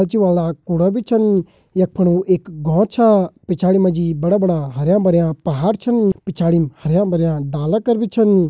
कूड़ा बी छिन यख फुण एक घौर छा पिछायाडी माजी बड़ा-बड़ा हरयां-भरयां पहाड़ छिन पिछायाडी हरयां-भरयां डाला कर बी छिन।